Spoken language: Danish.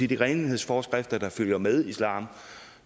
de renhedsforskrifter der følger med islam